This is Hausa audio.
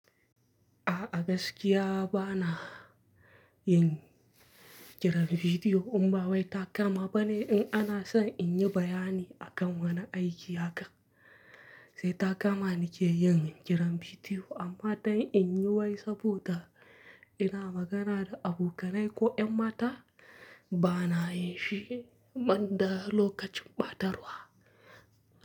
A gaskiya bana yin kira da video in ba wai ta kama bane. In ana son in yi bayani akan wani aiki haka, sai takama na ke yin kiran bidiyo. Amma don in yi wai saboda ina magana da abokanai ko 'yan mata, ba na yin shi man da lokacin ɓatarwa.